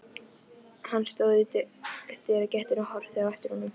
Hann stóð í dyragættinni og horfði á eftir honum.